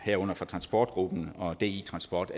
herunder fra transportgruppen og di transport